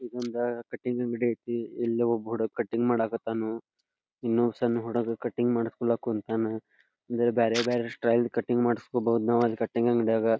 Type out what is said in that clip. ಒಂದ್ ಕಟಿಂಗ್ ಅಂಗಡಿ ಐತಿ. ಇಲ್ಲಿ ಒಬ್ಬ ಹುಡುಗ ಕಟಿಂಗ್ ಮಾಡಕ್ಕತ್ತನು. ಇನ್ನು ಸಣ್ಣ ಹುಡುಗ ಕಟಿಂಗ್ ಮಾಡಸಕೊಳಕ್ಕ ಕುನ್ ತ್ತನ್ ಅಂದ್ರೆ ಬ್ಬ್ಯಾರೆ ಬ್ಯಾರೆ ಸ್ಟೈಲ್ ಕಟಿಂಗ್ ಮಾಡಸ್ಕೊಬಹುದು ನಾವು ಅಲ್ಲಿ ಕಟಿಂಗ್ ಅಂಗಡಿಯಗ.